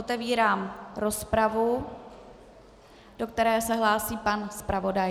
Otevírám rozpravu, do které se hlásí pan zpravodaj.